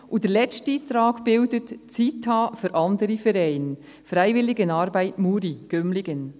Der letzte Eintrag heisst «Zyt ha für Anderi Verein Freiwilligenarbeit Muri-Gümligen».